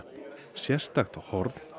sérstakt horn